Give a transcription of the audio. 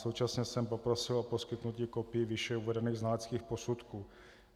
Současně jsem poprosil o poskytnutí kopií výše uvedených znaleckých posudků.